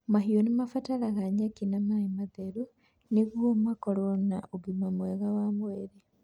Mahiũ nĩ ibataraga nyeki na maĩ matheru nĩguo ikorũo irĩ na ũgima mwega wa mwĩrĩ.